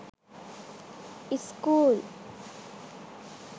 school